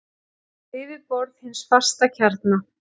við yfirborð hins fasta kjarna.